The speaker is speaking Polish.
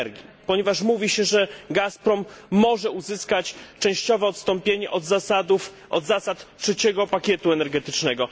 energii, ponieważ mówi się, że Gazprom może uzyskać częściowe odstąpienie od zasad trzeciego pakietu energetycznego.